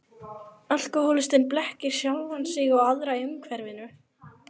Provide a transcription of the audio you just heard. Alkohólistinn blekkir sjálfan sig og aðra í umhverfinu.